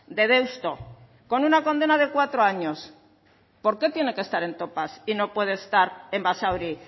de deusto con una condena de cuatro años por qué tiene que estar en topas y no puede estar en basauri